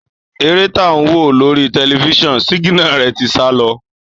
Èrè tá wo lórí tẹlifiṣionu siginare tí sá lọ.